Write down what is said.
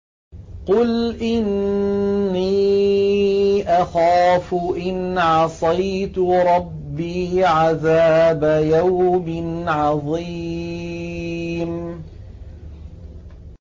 قُلْ إِنِّي أَخَافُ إِنْ عَصَيْتُ رَبِّي عَذَابَ يَوْمٍ عَظِيمٍ